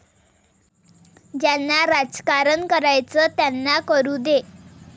ज्यांना राजकारण करायचंय त्यांना करू दे.